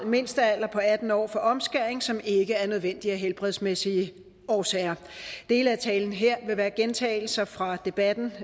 mindstealder på atten år for omskæring som ikke er nødvendig af helbredsmæssige årsager dele af talen her vil være gentagelser fra debatten